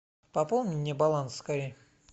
пополни мне баланс скорей